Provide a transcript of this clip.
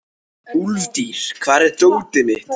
Úlftýr, hvar er dótið mitt?